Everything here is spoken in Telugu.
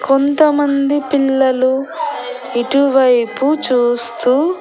కొంతమంది పిల్లలు ఇటువైపు చూస్తూ--